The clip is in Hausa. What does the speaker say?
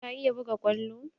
Ka iya buga kwallo?